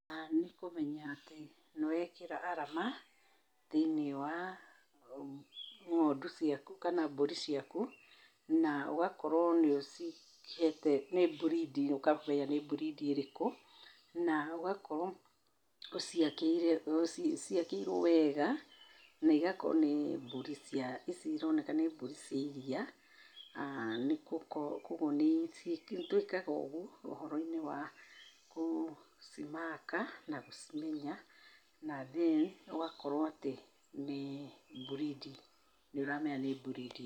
Nĩkũmenya atĩ nĩwekĩra arama thĩiniĩ wa ng'ondu ciaku kana mbũri ciaku na ũgakorwo nĩ ũcihete, nĩ mbridi, ũkamenya nĩ mbridi ĩrĩkũ na ũgaciakĩire ciakĩirwo wega naigakorwo nĩ mbũri cia, ici ironeka nĩ mbũri cia iria. Kuogwo nĩtũĩkaga ũgwo ũhoro-inĩ wa gũcimaka na gũcimenya na then ũgakorwo atĩ nĩ mbridi, nĩũramenya nĩ mbridi.